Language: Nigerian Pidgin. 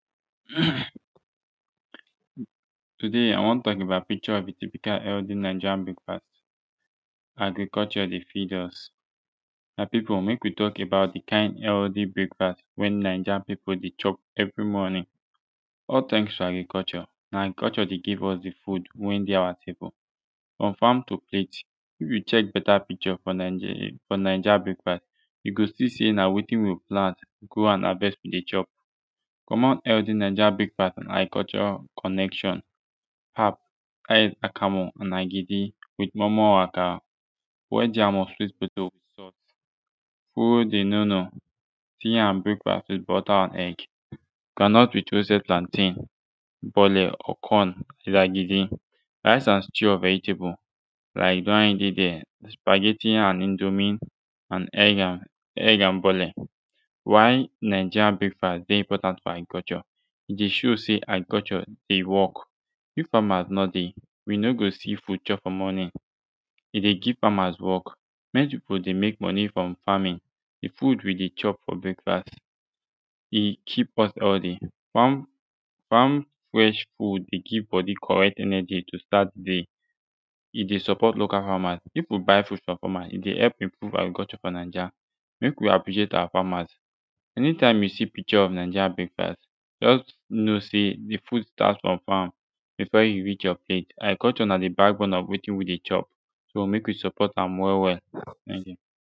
um today i wan tok about picture habit and significance of healthy naija breakfast agriculture dey feed us my pipu mek wi tok about de kin healthy breakfast wen naija pipu de chop evri morning all ten ks to agriculture na agriculture dey give us de food wen dey awa table confam to plate if yu check beta picture fo nigeria fo naija breakfast yu go si sey na wetin wi plant grow and havest wi dey chop fo more healthy naija brekfast agriculture connection pap dats akamu and agidi wit moi moi or akara boiled yam or sweet potato who dem no know tea and breakfast wit butter an egg groundnut with roasted plantain bole or corn wit agidi rice and stew or vegetable like de one wey dey dere spaggheti and indomie and egg and egg and bole why naija breakfast dey important fo agriculture e dey show sey agriculture dey wok if famas no dey wi no go si food chop fo mornin e dey give famas wok plenti pipu dey mek moni frum famin fud wi dey chop for breakfast e cheap am al de fam fam fresh fud dey give de bodi de correct energi to start de day e dey suport local famas if pipu buy fud frum famas e dey help improve agriculture fo naija mek wi appreciate awa famas ani tim yu si picture of naija breakfast jus know sey de fud start frum fam befor e reach yur plate agriculture na de backbone of wetin wi de chop so mek wi support am wel wel ten k yu